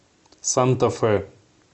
санта фе